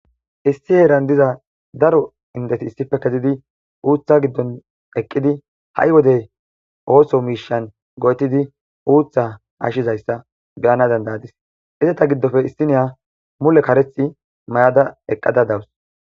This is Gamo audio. Issi heeran diza Daro indeti issipe kezidi Utha Gidon Eqidi ha'i wode Osso mishay Go'etidi Osso Misha Hashizaysa Beyana danda'adis izeta gidope issiniya Mule karetha Mayada eqada dawus